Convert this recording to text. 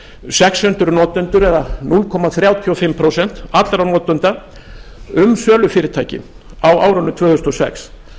sex hundruð notendur eða núll komma þrjátíu og fimm prósent allra notenda um sölufyrirtæki á árinu tvö þúsund og sex